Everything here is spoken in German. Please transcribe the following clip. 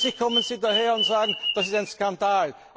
Plötzlich kommen Sie daher und sagen, das ist ein Skandal.